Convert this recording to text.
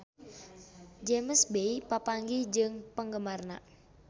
James Bay papanggih jeung penggemarna